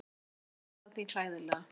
Og þú, naðran þín, hræðilega.